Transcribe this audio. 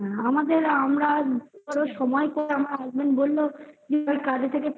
আমাদের আমরা ধরো সময় তো আমার husband বলল যে কাজে থেকে